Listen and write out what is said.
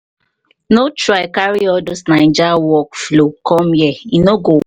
no try carry all those naija work-flow com here e no go work.